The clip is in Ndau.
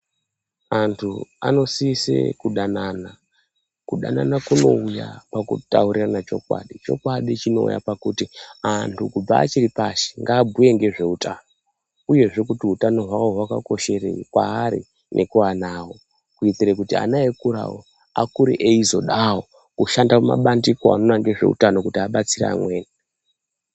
Antu anosise kudanana. Kudanana kunouya pakutaurirana chokwadi. Chokwadi chinouya pakuti ,antu kubva achiri pashi, ngaabhuye ngezveutano uyezve kuti utano hwavo hwakakosherei kwaari nekuana avo, kuitire kuti ana eikurawo ,akure eizodawo kushanda mumabandiko anoona nezveutano kuti abatsire amweni.